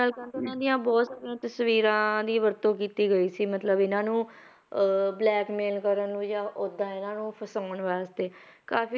ਨਾਲ ਕਹਿੰਦੇ ਇਹਨਾਂ ਦੀਆਂ ਬਹੁਤ ਸਾਰੀਆਂ ਤਸਵੀਰਾਂ ਦੀ ਵਰਤੋਂ ਕੀਤੀ ਗਈ ਸੀ ਮਤਲਬ ਇਹਨਾਂ ਨੂੰ ਅਹ blackmail ਕਰਨ ਨੂੰ ਜਾਂ ਓਦਾਂ ਇਹਨਾਂ ਨੂੰ ਫਸਾਉਣ ਵਾਸਤੇ ਕਾਫ਼ੀ